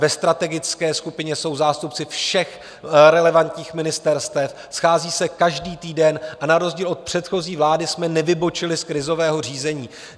Ve strategické skupině jsou zástupci všech relevantních ministerstev, schází se každý týden a na rozdíl od předchozí vlády jsme nevybočili z krizového řízení.